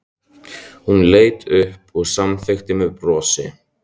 Hún leit upp og samþykkti með brosi.